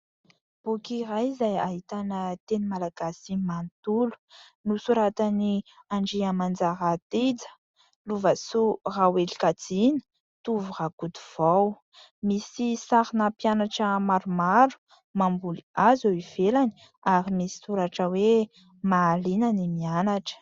Boky iray izay ahitana teny malagasy manontolo nosoratan'i Andriamanjara Tija, Loavasoa Rahoelikajiana, Tovo Rakotovao. Misy sarina mpianatra maromaro mamboly hazo eo ivelany ary misy soratra hoe ''Mahaliana ny Mianatra''.